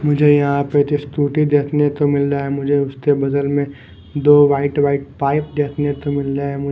मुझे यहाँ पे एक स्कूटी देखने को मिल रहा है मुझे उसके बदल में दो पाइप देखने को मिल रहा है मुझे --